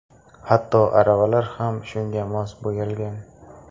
Hatto aravalar ham shunga mos bo‘yalgan.